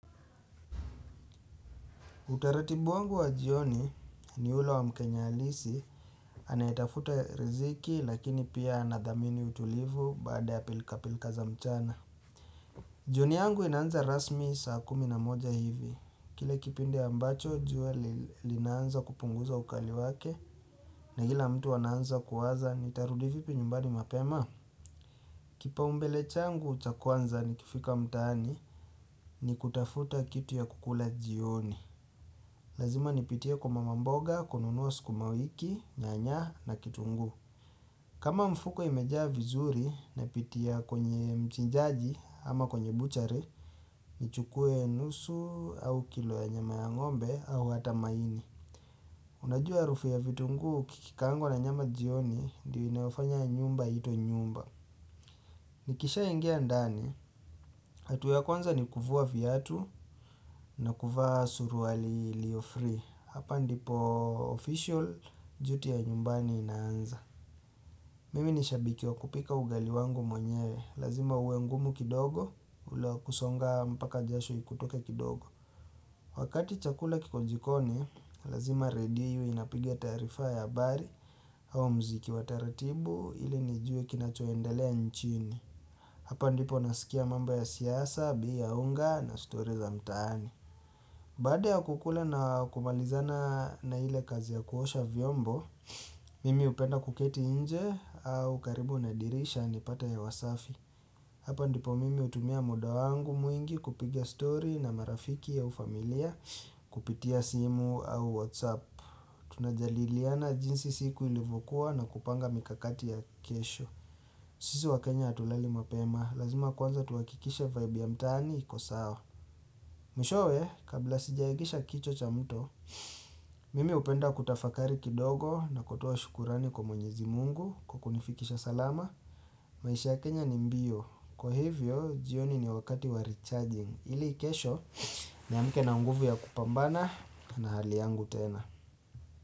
Utaratibu wangu wa jioni ni ule wa mkenya halisi, anayetafuta riziki lakini pia anadhamini utulivu baada ya pilka pilka za mchana. Jioni yangu inanza rasmi saa kumi na moja hivi. Kile kipindi ambacho, juwa linaanza kupunguza ukali wake na ila mtu ananza kuwaza ni tarudi vipi nyumbani mapema. Kipao mbele changu cha kwanza ni kifika mtani ni kutafuta kitu ya kukula jioni. Lazima nipitie kwa mama mboga, kununua sukuma wiki, nyanya na kitunguu. Kama mfuko imejaa vizuri na pitia kwenye mchinjaji ama kwenye buchari, ni chukue nusu au kilo ya nyama ya ngombe au hata maini. Unajua harufu ya vitungu kikikaangwa na nyama jioni ndio inayo fanya nyumba itwe nyumba. Nikisha ingia ndani, hatua ya kwanza ni kuvua viatu na kuvaa sururi iliyo free. Hapa ndipo official, juti ya nyumbani inaanza. Mimi nishabiki wa kupika ugali wangu mwenyewe, lazima uwe ngumu kidogo, ulio wakusonga mpaka jashu ikutoke kidogo. Wakati chakula kiko jikoni, lazima redio iwe inapigia taarifa ya habari au mziki wa taratibu ili nijue kinachoendelea nchini. Hapa ndipo nasikia mamba ya siyasa, bei ya unga na story za mtaani. Baada ya kukula na kumalizana na ile kazi ya kuosha vyombo, mimi hupenda kuketi inje au karibu na dirisha nipate hewa wasafi. Hapa ndipo mimi hutumia muda wangu mwingi kupiga story na marafiki au familia kupitia simu au whatsapp. Tunajadiliana jinsi siku ilivokuwa na kupanga mikakati ya kesho. Sisi wa Kenya hatulali mapema, lazima kwanza tuwakikishe vibe ya mtaani iko sawa. Mwishowe, kabla sijaegesha kichwa cha mto, Mimi hupenda kutafakari kidogo na kutua shukurani kwa mwenyezi mungu kwa kunifikisha salama maisha ya Kenya ni mbio, kwa hivyo jioni ni wakati wa recharging ili ikesho mff ni amke na nguvu ya kupambana na hali yangu tena.